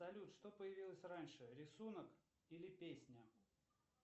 салют что появилось раньше рисунок или песня